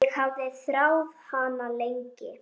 Ég hafði þráð hana lengi.